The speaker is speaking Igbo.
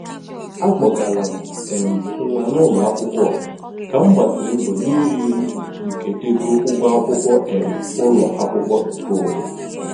A kpọgara m um nwa n'ụlọakwụkwọ ọha ka m gbasịrị mbọ n'ịrị elu nke ego ụgwọ akwụkwọ um ụlọakwụkwọ nke onwe.